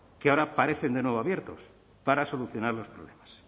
que ahora parecen de nuevo abiertos para solucionar los problemas